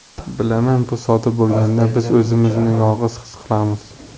Bilaman, bu sodir bo‘lganda biz o‘zimizni yolg‘iz his qilamiz.